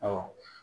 Ɔ